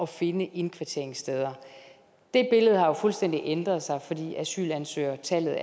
finde indkvarteringssteder det billede har jo fuldstændig ændret sig fordi asylansøgertallet